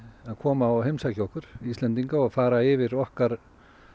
að koma og heimsækja okkur Íslendinga og fara yfir okkar